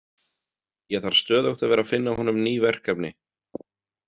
Ég þarf stöðugt að vera að finna honum ný verkefni.